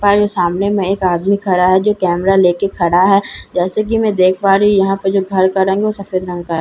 पहले सामने में एक आदमी खड़ा है जो कैमरा लेके खड़ा है जैसे कि मैं देख पा रही यहां पर जो घर का रंग है सफेद रंग का है।